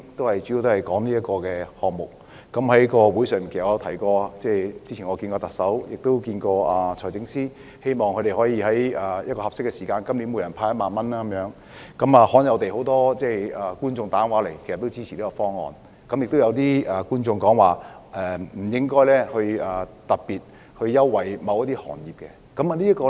我在節目中提到，我早前曾與特首及財政司司長會面，希望他們今年可以在合適的時間向每名市民派發1萬元，這方案罕有地獲得很多觀眾致電支持，但亦有觀眾表示不應特別優待某些行業。